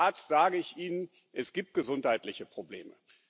Und als Arzt sage ich Ihnen Es gibt gesundheitliche Probleme.